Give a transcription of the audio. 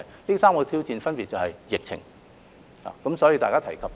這3個挑戰分別是：第一是疫情。